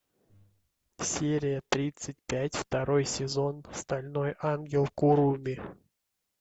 серия тридцать пять второй сезон стальной ангел куруми